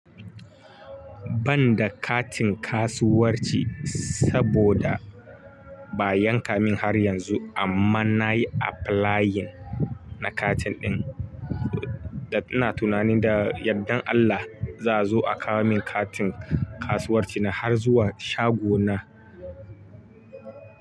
Ban da katin kasuwanci saboda ba yanka min har yanzu amma nayi applying na katin ɗin. Da ina tunanin da yadda Allah za zo a kawo min katin kasuwarci na har zuwa shago na.